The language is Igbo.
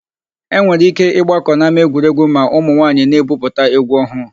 E nwere íké ịgbakọ n'ámáegwuregwu ma ụmụnwaayị na-ebupụta égwú ọhụụ.